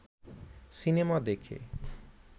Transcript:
cinema দেখে